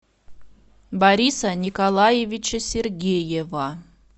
бориса николаевича сергеева